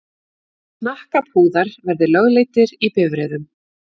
Hnakkapúðar verði lögleiddir í bifreiðum.